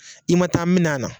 I ma taa minnɛ a na.